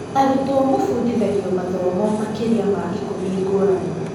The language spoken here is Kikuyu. Arutwo mũfundithagio mathomo makĩria ma ikũmi ngũrani.